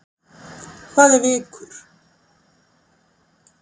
Hvað er vikur?